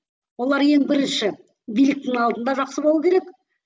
олар ең бірінші биліктің алдында жақсы болу керек